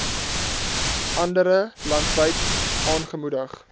andere landwyd aangemoedig